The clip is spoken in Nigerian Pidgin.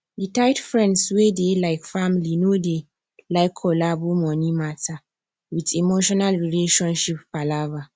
the tight friends wey dey like family no dey like collabo money matter with emotional relationship palava